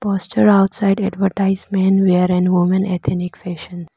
outside advertisement where and women ethnic fashion.